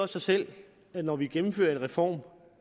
sig selv at når vi gennemfører en reform